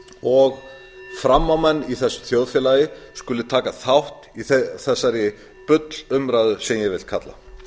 og framámenn í þessu þjóðfélagi skuli taka þátt í þessari bullumræðu sem ég vil kalla